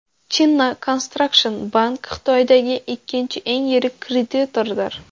China Construction Bank Xitoydagi ikkinchi eng yirik kreditordir.